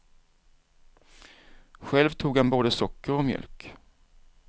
Själv tog han både socker och mjölk.